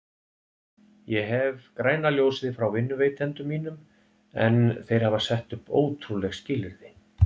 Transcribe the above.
Ég hef græna ljósið frá vinnuveitendum mínum en þeir hafa sett upp ótrúleg skilyrði.